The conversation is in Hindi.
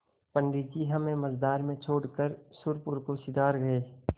पंडित जी हमें मँझधार में छोड़कर सुरपुर को सिधर गये